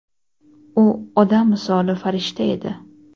U odam misoli farishta edi.